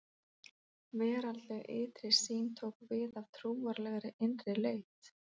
Veraldleg ytri sýn tók við af trúarlegri innri leit.